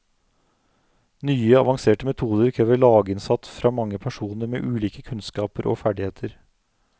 Nye, avanserte metoder krever laginnsats fra mange personer med ulike kunnskaper og ferdigheter.